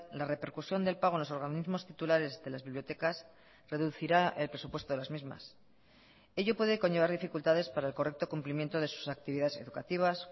la repercusión del pago en los organismos titulares de las bibliotecas reducirá el presupuesto de las mismas ello puede conllevar dificultades para el correcto cumplimiento de sus actividades educativas